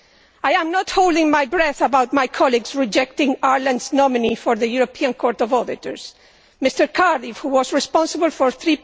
I am not holding my breath about my colleagues rejecting Ireland's nominee for the European Court of Auditors, Mr Cardiff, who was responsible for a EUR